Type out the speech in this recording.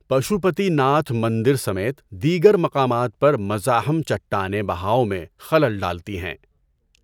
پشو پتی ناتھ مندر سمیت دیگر مقامات پر مزاحم چٹانیں بہاؤ میں خلل ڈالتی ہیں۔